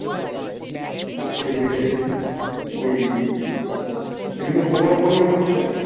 এই যে মেয়েদের ওই বিভিন্ন প্রকল্প নিয়ে বলছিলে